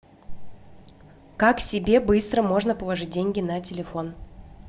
как себе быстро можно положить деньги на телефон